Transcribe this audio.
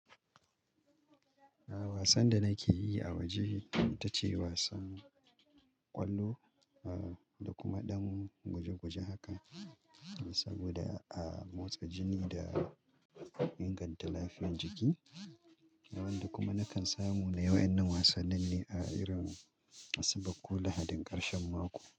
A'a wasan da nake yi a waje ita ce wasan ƙwallo, ah da kuma ɗan guje-guje haka da sau--. Saboda a motsa jini da inganta lafiyar jiki. Nawanda kuma nakan samu na yi wayannan wasannin ne a irin Asabar ko Lahadin ƙarshen mako.